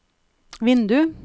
vindu